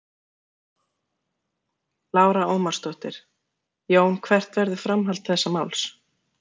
Lára Ómarsdóttir: Jón hvert verður framhald þessa máls?